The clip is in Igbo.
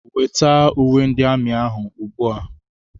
Weta uwe ndị amị ahụ ugbu a!